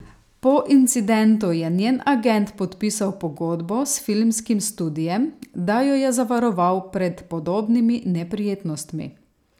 Po incidentu je njen agent podpisal pogodbo s filmskim studiem, da jo je zavaroval pred podobnimi neprijetnostmi.